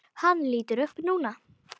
Hann lítur upp núna.